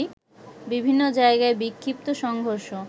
বিভিন্ন জায়গায় বিক্ষিপ্ত সংঘর্ষ